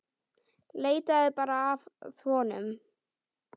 Leitaðu bara að honum.